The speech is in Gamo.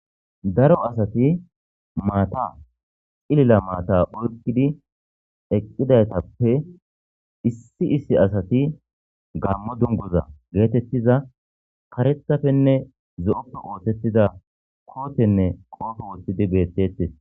Daro asati mata c'lilo mata oyqidi eqidaytape issi asati gamo dunguza getetiza karethapenne zo'ope osetiza kotene qobe wotidi betetes.